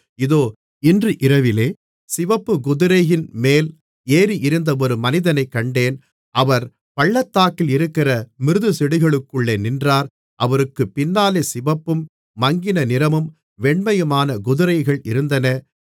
இதோ இன்று இரவிலே சிவப்புக்குதிரையின்மேல் ஏறியிருந்த ஒரு மனிதனைக் கண்டேன் அவர் பள்ளத்தாக்கில் இருக்கிற மிருதுச்செடிகளுக்குள்ளே நின்றார் அவருக்குப் பின்னாலே சிவப்பும் மங்கின நிறமும் வெண்மையுமான குதிரைகள் இருந்தன